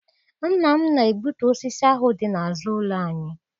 Nna m na-egbutu osisi ahụ dị n'azụ ụlọ anyị.